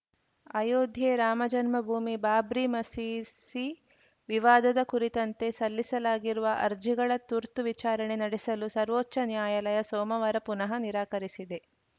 ಅಯೋಧ್ಯೆ ರಾಮಜನ್ಮಭೂಮಿಬಾಬ್ರಿ ಮಸೀಸಿ ವಿವಾದದ ಕುರಿತಂತೆ ಸಲ್ಲಿಸಲಾಗಿರುವ ಅರ್ಜಿಗಳ ತುರ್ತು ವಿಚಾರಣೆ ನಡೆಸಲು ಸರ್ವೋಚ್ಚ ನ್ಯಾಯಾಲಯ ಸೋಮವಾರ ಪುನಃ ನಿರಾಕರಿಸಿದೆ